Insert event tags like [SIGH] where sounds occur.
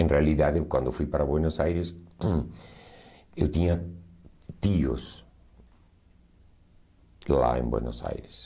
Em realidade, quando eu fui para Buenos Aires, [COUGHS] eu tinha tios lá em Buenos Aires.